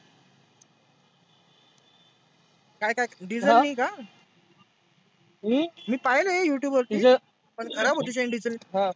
काय काय diesel नी का? हम्म मी पाहेल आहे Youtube वरती. पण खराब होती chain diesel नी अं